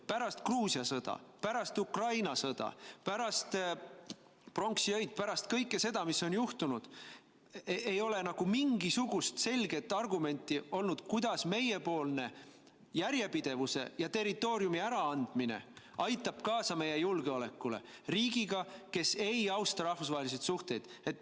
Pärast Gruusia sõda, pärast Ukraina sõda, pärast pronksiöid, pärast kõike seda, mis on juhtunud, ei ole nagu mingisugust selget argumenti olnud, kuidas meiepoolne järjepidevuse ja territooriumi äraandmine aitab kaasa meie julgeolekule suhetes riigiga, kes ei austa rahvusvahelisi suhteid.